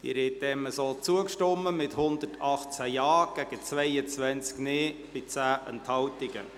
Sie haben dem so zugestimmt, mit 118 Ja- gegen 22 Nein-Stimmen bei 10 Enthaltungen.